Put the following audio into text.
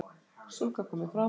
Stúlka komin fram